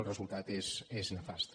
el resultat és nefast